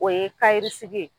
O ye ye.